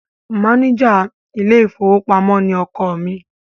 Máníjà ilé-ìfowópamọ́ ni ọkọ mi.